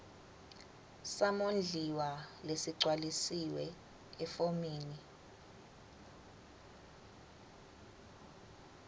samondliwa lesigcwalisiwe efomini